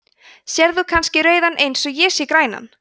sérð þú kannski rauðan eins og ég sé grænan